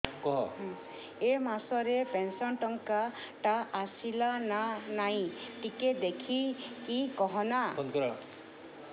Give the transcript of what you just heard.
ଏ ମାସ ରେ ପେନସନ ଟଙ୍କା ଟା ଆସଲା ନା ନାଇଁ ଟିକେ ଦେଖିକି କହନା